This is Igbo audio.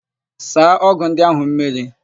Saa ọ́gụ̀ ndị áhụ̀ mmiri!